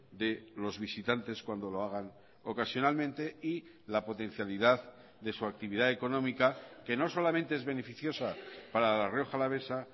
de los visitantes cuando lo hagan ocasionalmente y la potencialidad de su actividad económica que no solamente es beneficiosa para la rioja alavesa